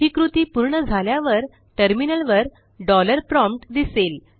ही कृती पूर्ण झाल्यावर टर्मिनलवर डॉलर प्रॉम्प्ट दिसेल